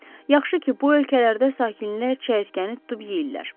Yaxşı ki, bu ölkələrdə sakinlər çəyirtkəni tutub yeyirlər.